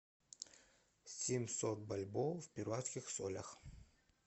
семьсот бальбоа в перуанских солях